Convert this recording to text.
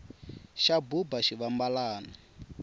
xa buba xivambalani